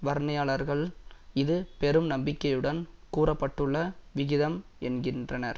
வர்ணனையாளர்கள் இது பெரும் நம்பிக்கையுடன் கூற பட்டுள்ள விகிதம் என்கின்றனர்